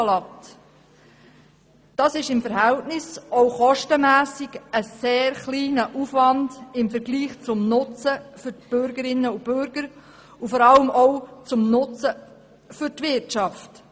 Das ist im Verhältnis auch kostenmässig ein sehr kleiner Aufwand im Vergleich zum Nutzen für die Bürgerinnen und Bürger und vor allem auch zum Nutzen für die Wirtschaft.